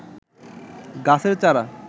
গাছের চারা